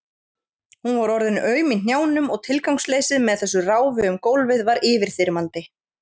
Hún var orðin aum í hnjánum og tilgangsleysið með þessu ráfi um gólfið var yfirþyrmandi.